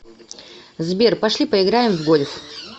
сбер пошли поиграем в гольф